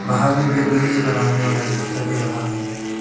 बाहर में बैठने के लिए बनाने वाला भी दिखाई दे रहा है।